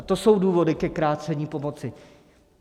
A to jsou důvody ke krácení pomoci.